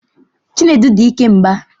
Chinedu di ike mgba